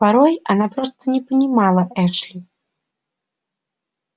порой она просто не понимала эшли